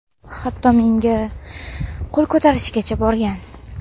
Hatto menga qo‘l ko‘tarishgacha borgan.